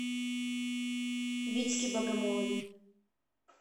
витьке богомолове